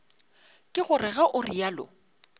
ke gore ge o realo